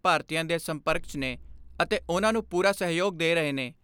ਭਾਰਤੀਆਂ ਦੇ ਸੰਪਰਕ 'ਚ ਨੇ ਅਤੇ ਉਨ੍ਹਾਂ ਨੂੰ ਪੂਰਾ ਸਹਿਯੋਗ ਦੇ ਰਹੇ ਨੇ।